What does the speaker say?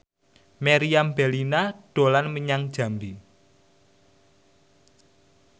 Meriam Bellina dolan menyang Jambi